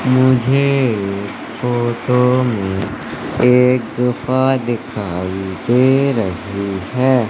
मुझे इस फोटो में एक गुफा दिखाई दे रही है।